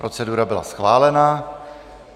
Procedura byla schválena.